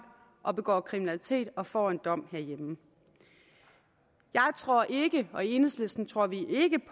og begår kriminalitet og får en dom herhjemme jeg tror ikke og i enhedslisten tror vi ikke